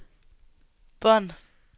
bånd